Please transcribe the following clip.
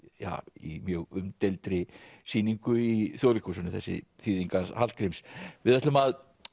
í mjög umdeildri sýningu í Þjóðleikhúsinu þessi þýðing hans Hallgríms við ætlum að